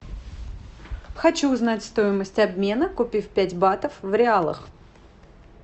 хочу узнать стоимость обмена купив пять батов в реалах